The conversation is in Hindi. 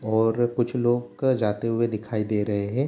और कुछ लोग जाते हुए दिखाई दे रहे हैं।